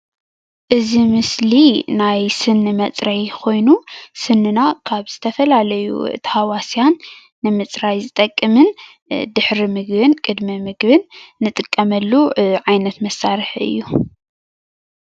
እዚ ምስሊ ናይ ስኒ መፅረዪ ኾይኑ ስንና ካብ ዝተፈላለዩ ተሃዋስያን ንምፅራይ ዝጠቅምን ድሕሪ ምግብን ቅድሚ ምግብን ንጥቀመሉ ዓይነት መሳርሒ እዩ፡፡